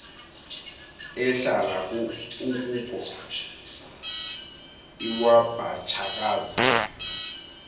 ehlala ukhuko iwabatshakazi